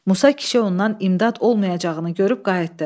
Musa kişi ondan imdad olmayacağını görüb qayıtdı.